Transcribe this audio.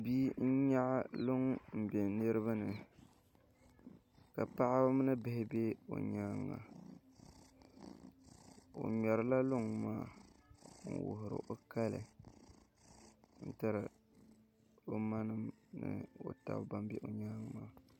Bia n yɛɣi luŋ n bɛ niriba ni ka paɣaba mini bihi bɛ o yɛanga o ŋmɛri la luŋ maa n wuhiri o kali n tiri o ma nima ni o taba ban bɛ o yɛanga maa